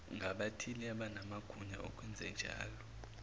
ngabathize abanamagunya okwenzenjalo